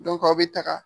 aw bɛ taga